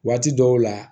Waati dɔw la